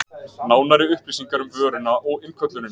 Nánari upplýsingar um vöruna og innköllunina